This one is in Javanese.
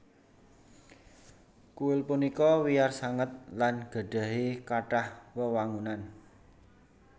Kuil punika wiyar sanget lan gadhahi kathah wewangunan